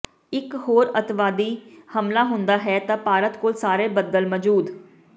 ਇਕ ਹੋਰ ਅੱਤਵਾਦੀ ਹਮਲਾ ਹੁੰਦਾ ਹੈ ਤਾਂ ਭਾਰਤ ਕੋਲ ਸਾਰੇ ਬਦਲ ਮੌਜੂਦ